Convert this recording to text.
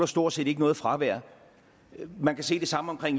stort set ikke noget fravær man kan se det samme